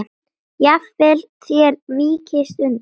Jafnvel þér víkist undan!